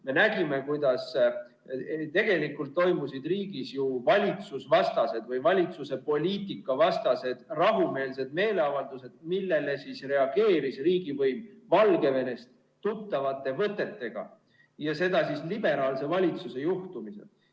Me nägime, kuidas tegelikult toimusid riigis ju valitsusvastased või valitsuse poliitika vastased rahumeelsed meeleavaldused, millele reageeris riigivõim Valgevenest tuttavate võtetega, ja seda liberaalse valitsuse juhtimisel.